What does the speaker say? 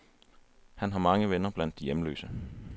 Han har mange venner blandt de hjemløse.